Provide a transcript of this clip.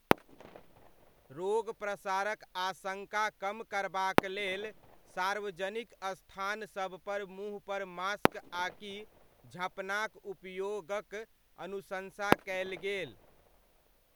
रोग प्रसारक आशङ्का कम करबाक लेल सार्वजनिक स्थानसबपर मुँहपर मास्क आकि झँपनाक उपयोगक अनुशंसा कयल गेल।